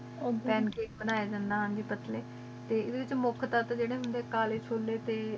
ਕਾਕੇ ਬਨਾਯਾ ਜਾਂਦਾ ਹਨ ਜੀ ਪਤਲੀ ਟੀ ਏਡੀ ਚ ਕਾਲੀ ਚੁਲੀ